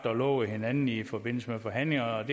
og lovet hinanden i forbindelse med forhandlingerne